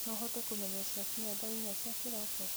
no ũhote kũmenyithia ciakinya thaa inyanya cia kĩroko